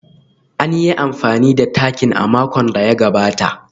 An yi amfani da takin a makon da ya gabata